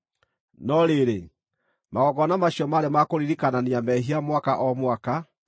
No rĩrĩ, magongona macio maarĩ ma kũririkanania mehia mwaka o mwaka,